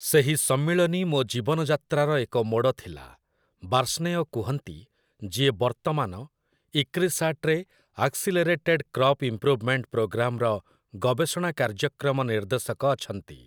"ସେହି ସମ୍ମିଳନୀ ମୋ ଜୀବନ ଯାତ୍ରାର ଏକ ମୋଡ଼ ଥିଲା", ବାର୍ଷ୍ଣେୟ କୁହନ୍ତି, ଯିଏ ବର୍ତ୍ତମାନ 'ଇକ୍ରିସାଟ୍'ରେ 'ଆକ୍ସିଲେରେଟେଡ୍ କ୍ରପ୍ ଇମ୍ପୃଭ୍‌ମେଣ୍ଟ ପ୍ରୋଗ୍ରାମ୍'ର ଗବେଷଣା କାର୍ଯ୍ୟକ୍ରମ ନିର୍ଦ୍ଦେଶକ ଅଛନ୍ତି ।